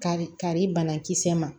Kari kari banakisɛ ma